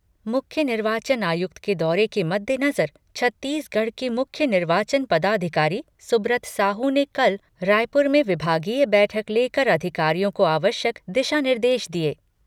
मुख्य निर्वाचन आयुक्त के दौरे के मद्देनजर छत्तीसगढ़ के मुख्य निर्वाचन पदाधिकारी सुब्रत साहू ने कल रायपुर में विभागीय बैठक लेकर अधिकारियों को आवश्यक दिशा निर्देश दिए।